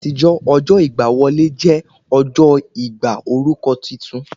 Ní àtijọ́, ọjọ́ ìgbà wọlé jẹ́ ọjọ́ ìgbà orúkọ titun